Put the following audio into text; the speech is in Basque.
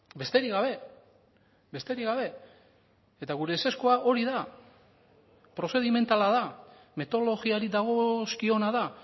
besterik gabe besterik gabe eta gure ezezkoa hori da prozedimentala da metodologiari dagozkiona da